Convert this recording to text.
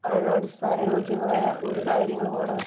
അടിസ്ഥാന യോഗ്യമായ ഒരു കാര്യങ്ങളും അവിടെ